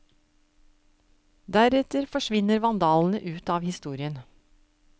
Deretter forsvinner vandalene ut av historien.